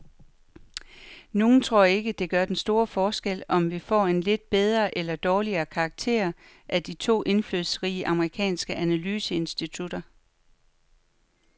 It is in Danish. Nogle tror ikke, det gør den store forskel, om vi får en lidt bedre eller dårligere karakter af de to indflydelsesrige amerikanske analyseinstitutter.